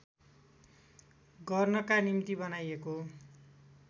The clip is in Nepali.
गर्नका निम्ति बनाइएको